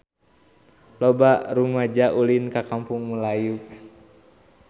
Loba rumaja ulin ka Kampung Melayu